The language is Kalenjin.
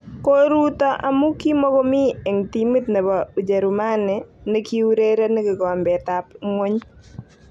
Koruuto amu kimokomi eng timit nebo ujerumani ne kiurereni kikombet ab ngwony